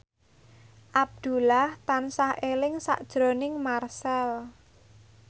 Abdullah tansah eling sakjroning Marchell